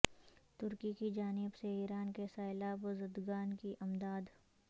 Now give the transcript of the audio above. ترکی کی جانب سے ایران کے سیلاب زدگان کی امداد